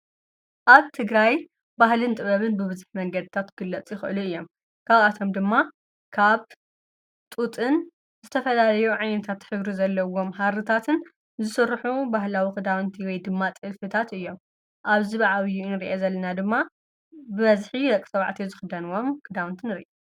ኣብ ትግራይ ባህልን ጥበብን ብብዝሕ መንገድታት ክግለፁ ይኽእሉ እዮም፡፡ ካብኣቶም ድማ ካብ ጡጥን ዝተፈላለዮ ዓይታት ሕብርታት ዘለዎም ሃርታትን ዝስርሑ ባህላዊ ኽዳውንቲ ወይ ድማ ጥልፍታት እዮም፡፡ ኣብዚ ብዓብዪ እንርአ ዘለና ድማ ብበዝሒ ደቂ ተባዕትዮ ዝኽዳንዎም ክዳውንቲ ንርኢ፡፡